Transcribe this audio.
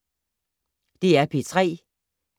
DR P3